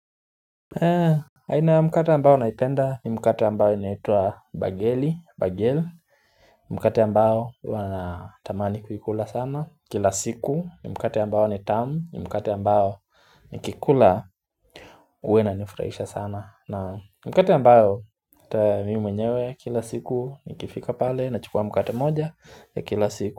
Na mkate ambayo naipenda ni mkate ambayo inaitwa bageli Mkate ambao huwa na tamani kuikula sana Kila siku ni mkate ambayo ni tamu Mkate ambayo nikikula huwa inanifurahisha sana na mkate ambayo mimi mwenyewe kila siku ni kifika pale na chukua mkate moja ya kila siku.